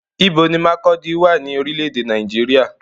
Ibo ni Markurdi wà ní orílé èdè Nàìjíríà?